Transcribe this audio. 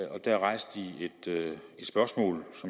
det